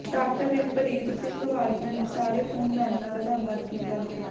doctor Rimpreet Singh ਵਾਲੀਆਂ ਨੇ ਸਾਰੇ ਖੂਨਦਾਨੀਆਂ ਦਾ ਧੰਨਵਾਦ ਕੀਤਾ ਗਿਆ